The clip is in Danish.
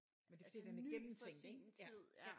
Men det er fordi den er gennemtænkt ik ja ja